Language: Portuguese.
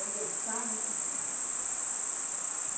Eu gostava de ciência.